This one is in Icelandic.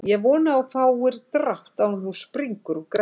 Ég vona að þú fáir drátt áður en þú springur úr greddu